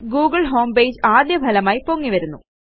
Google homepage ആദ്യ ഫലമായി പൊങ്ങിവരുന്നു